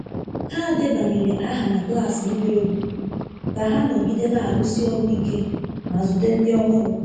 Ha debanyere aha na klas ịgba egwu ka ha nọgide na-arụsi ọrụ ike ma zute ndị ọhụrụ.